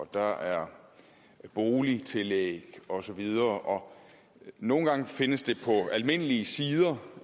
der er boligtillæg og så videre nogle gange findes det på almindelige sider